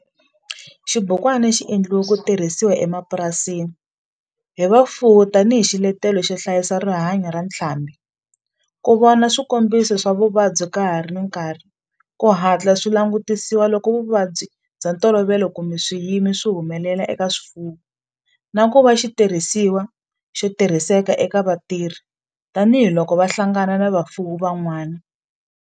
Xibukwana xi endliwe ku tirhisiwa emapurasini hi vafuwi tani hi xiletelo xo hlayisa rihanyo ra ntlhambhi, ku vona swikombiso swa vuvabyi ka ha ri na nkarhi ku hatla swi langutisiwa loko vuvabyi bya ntolovelo kumbe swiyimo swi humelela eka swifuwo, na ku va xitirhisiwa xo tirhiseka eka vatirhi tani hi loko va hlangana na vafuwi van'wana.